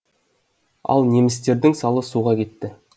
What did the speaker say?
ал немістердің салы суға кетті